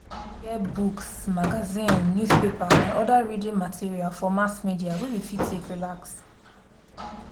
we fit get books magazine newspaper and oda reading material for mass media wey we fit take relax